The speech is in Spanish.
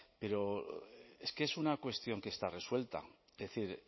pero es que es una cuestión que está resuelta es decir